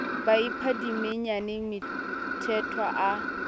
ba ipha dimenyane mthethwa a